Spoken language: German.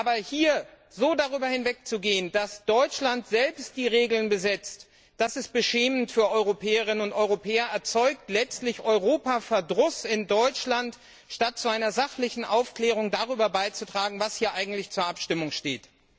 Aber hier so darüber hinwegzugehen, dass Deutschland selbst die Regeln festlegt, das ist beschämend für Europäerinnen und Europäer und erzeugt letztlich Europa Verdruss in Deutschland, statt zu einer sachlichen Aufklärung darüber beizutragen, was hier eigentlich zur Abstimmung steht.